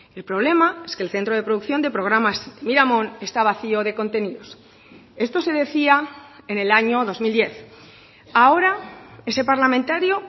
el problema es que el centro de producción de programas miramón está vacío de contenidos esto se decía en el año dos mil diez ahora ese parlamentario